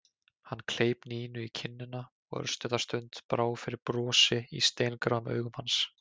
Hann kleip Nínu í kinnina og örstutta stund brá fyrir brosi í steingráum augum hans.